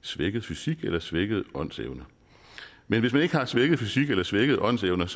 svækket fysik eller svækket åndsevne men hvis man ikke har svækket fysik eller svækket åndsevne